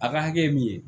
A ka hakɛ min ye